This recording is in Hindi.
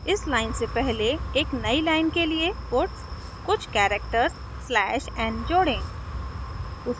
इस लाइन से पहले एक नयी लाइन के लिए puts कुछ कैरेक्टर्स स्लैश n जोड़ें